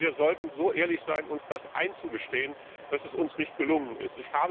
Ich finde, wir sollten so ehrlich sein, uns einzugestehen, dass uns das nicht gelungen ist.